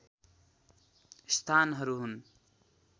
स्थानहरू हुन्